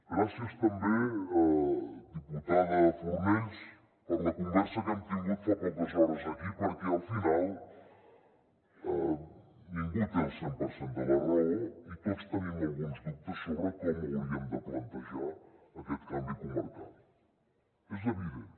gràcies també diputada fornells per la conversa que hem tingut fa poques hores aquí perquè al final ningú té el cent per cent de la raó i tots tenim alguns dubtes sobre com hauríem de plantejar aquest canvi comarcal és evident